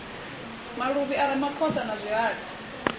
maluvhi a ramaphosa na zwihali